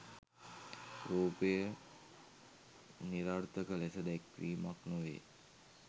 රූපය නිරර්ථක ලෙස දැක්වීමක් නො වේ.